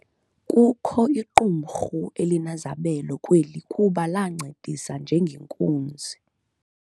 Kukho iqumrhu elinezabelo kweli kuba lancedisa ngenkunzi.